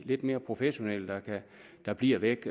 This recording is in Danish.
lidt mere professionelle der bliver væk